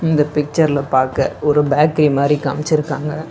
இந்த பிக்சர்ல பாக்க ஒரு பேக்கரி மாரி காமிச்சுருக்காங்க.